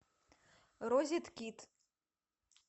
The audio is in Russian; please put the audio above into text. розеткид